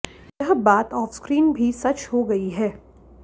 यह बात off screen भी सच हो गयी है